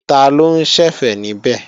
Taló ń ṣẹ̀fẹ̀ níbẹ̀?